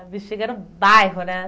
Ah, Bixiga era um bairro, né?